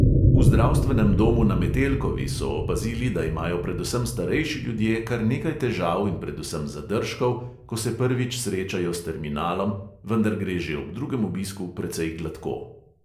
V zdravstvenem domu na metelkovi so opazili, da imajo predvsem starejši ljudje kar nekaj težav in predvsem zadržkov, ko se prvič srečajo s terminalom, vendar gre že ob drugem obisku precej gladko.